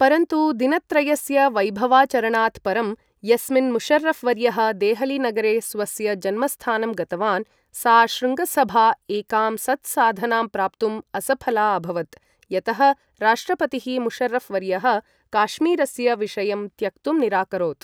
परन्तु दिनत्रयस्य वैभवाचरणात् परं, यस्मिन् मुशर्रफ् वर्यः देहलीनगरे स्वस्य जन्मस्थानं गतवान्, सा शृङ्गसभा एकां सत्साधनां प्राप्तुं असफला अभवत्, यतः राष्ट्रपतिः मुशर्रफ् वर्यः काश्मीरस्य विषयं त्यक्तुं निराकरोत्।